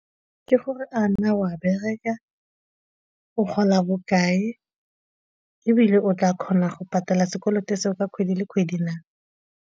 Ke gore a na o a bereka, o gola bokae ebile o tla kgona go patala sekoloto seo ka kgwedi le kgwedi na?